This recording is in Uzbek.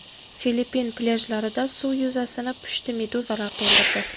Filippin plyajlarida suv yuzasini pushti meduzalar to‘ldirdi.